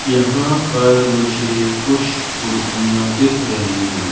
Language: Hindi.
यहां पर मुझे कुछ मूर्तियां दिख रही हैं।